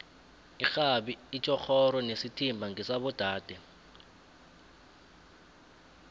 irhabi itjhorhoro nesithimba ngesabo dade